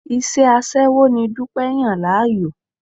Iṣẹ́ aṣẹ́wó ni Dúpẹ́ yàn láàyò.